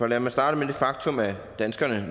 lad mig starte med det faktum at danskerne